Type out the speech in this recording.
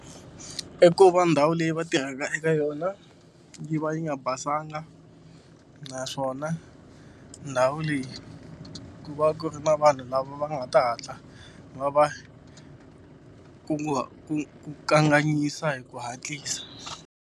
I ku va ndhawu leyi va tirhelaka eka yona yi va yi nga basanga naswona ndhawu leyi ku va ku ri na vanhu lava va nga ta hatla va va kanganyisa hi ku hatlisa.